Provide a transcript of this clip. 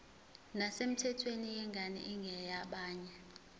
nesemthethweni yengane engeyabanye